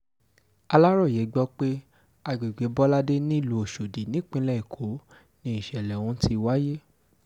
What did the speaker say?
aláròye gbọ́ pé àgbègbè bọládé nílùú ọ̀ṣọ́dì nípínlẹ̀ èkó ni ìṣẹ̀lẹ̀ ọ̀hún ti wáyé